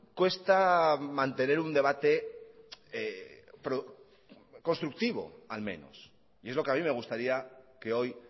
cuesta mantener un debate constructivo al menos y es lo que a mí me gustaría que hoy